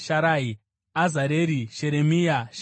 Azareri, Sheremia, Shemaria,